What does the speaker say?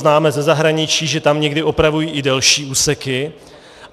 Známe ze zahraničí, že tam někdy opravují i delší úseky.